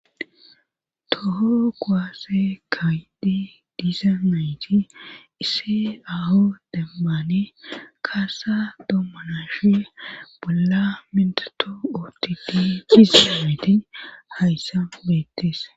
toho goaasse kaayidi diisa mayti isse aho demmane kaasa dommanashe bolla mindato ootidi sisilameti hayssa beettis